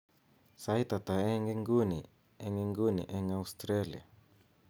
saitata eng inguni en inguni en australia